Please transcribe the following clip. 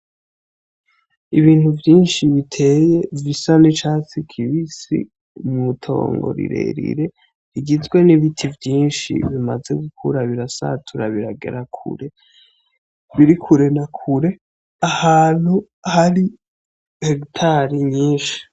Ibintu vyinshi biteye bisa n'icatsi kibisi mw'itongo rirerire rigizwe n'ibiti vyinshi bimaze gukura birasatura biragera kure birikure nakure ahantu hari hegitare nyinshi.